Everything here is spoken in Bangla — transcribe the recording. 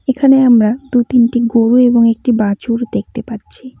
এখানে আমরা দু তিনটি গোরু এবং একটি বাছুর দেখতে পাচ্ছি।